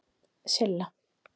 Silla